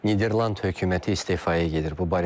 Niderland hökuməti istefaya gedir.